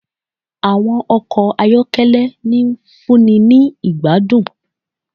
Àwọn ọkọ ayọ́kẹ́lẹ́, ń fúnni ni ìgbádùn